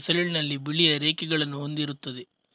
ಎಸಳಿನಲ್ಲಿ ಬಿಳಿಯ ರೇಖೆಗಳನ್ನು ಹೊಂದಿರುತ್ತದೆ